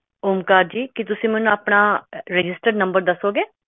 ਓਮਕਾਰ ਜੀ ਕੀ ਤੁਸੀਂ ਮੈਨੂੰ ਆਪਣਾ registered ਨੰਬਰ ਦੱਸੋਂਗੇ